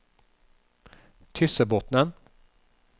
Tyssebotnen